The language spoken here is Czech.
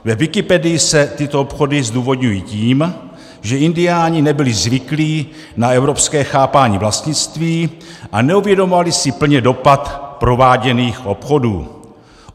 Ve Wikipedii se tyto obchody zdůvodňují tím, že indiáni nebyli zvyklí na evropské chápání vlastnictví a neuvědomovali si plně dopad prováděných obchodů.